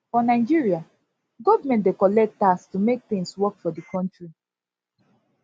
for nigeria government dey collect tax to make things work for di country